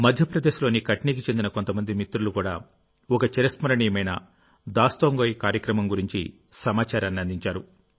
మధ్యప్రదేశ్లోని కట్నీకి చెందిన కొంతమంది మిత్రులు కూడా ఒక చిరస్మరణీయమైన దాస్తాంగోయ్ కార్యక్రమం గురించి సమాచారాన్ని అందించారు